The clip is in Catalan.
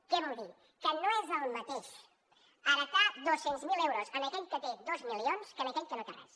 què vol dir que no és el mateix heretar dos cents miler euros per aquell que té dos milions que per aquell que no té res